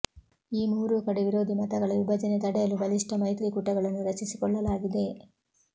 ಈ ಮೂರೂ ಕಡೆ ವಿರೋಧಿ ಮತಗಳ ವಿಭಜನೆ ತಡೆಯಲು ಬಲಿಷ್ಠ ಮೈತ್ರಿಕೂಟಗಳನ್ನು ರಚಿಸಿಕೊಳ್ಳಲಾಗಿದೆ